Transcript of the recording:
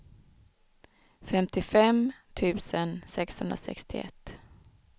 femtiofem tusen sexhundrasextioett